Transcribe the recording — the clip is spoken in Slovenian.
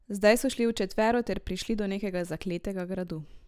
Zdaj so šli v četvero ter prišli do nekega zakletega gradu.